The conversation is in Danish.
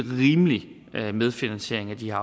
rimelig medfinansiering af de her